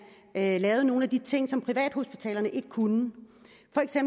lavede nogle af de ting som privathospitalerne ikke kunne